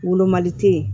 Wolomali te yen